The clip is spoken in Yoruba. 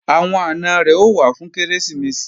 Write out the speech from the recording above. Àwọn àna rẹ̀ ó wá fún Kérésìmesì